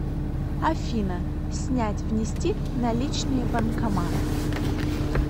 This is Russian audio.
афина снять внести наличные банкомат